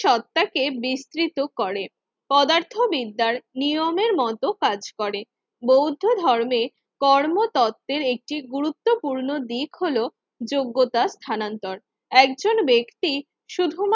সত্ত্বাকে বিস্তৃত করে পদার্থবিদ্যার নিয়মের মতো কাজ করে। বৌদ্ধ ধর্মের কর্মতত্ত্বের একটি গুরুত্বপূর্ণ দিক হল যোগ্যতা স্থানান্তর একজন ব্যক্তি শুধুমাত্র